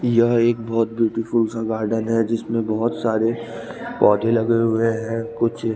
यह एक बहोत ब्यूटीफुल सा गार्डन है जिसमें बहोत सारे पौधे लगे हुए हैं कुछ--